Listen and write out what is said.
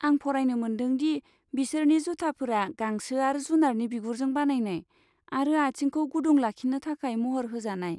आं फरायनो मोनदों दि बिसोरनि जुथाफोरा गांसो आरो जुनारनि बिगुरजों बानायनाय आरो आथिंखौ गुदुं लाखिनो थाखाय महर होजानाय।